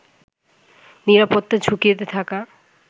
নিরাপত্তা ঝুঁকিতে থাকা